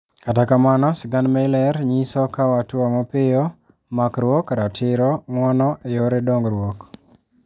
Kata kamano sigand meyler nyoso kawo atua mapiyo, makruok, ratiro, nguono eyore dongruok.